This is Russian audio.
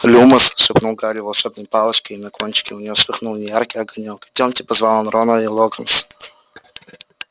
люмос шепнул гарри волшебной палочке и на кончике у неё вспыхнул неяркий огонёк идёмте позвал он рона и локонс